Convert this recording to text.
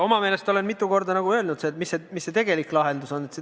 Oma meelest ma olen mitu korda öelnud, mis see tegelik lahendus on.